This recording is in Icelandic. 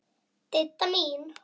Didda mín.